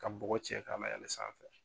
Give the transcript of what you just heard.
Ka bɔgɔ cɛ ka layɛlɛ sanfɛ.